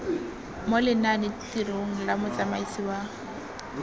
mo lenanetirong la motsamaisi wa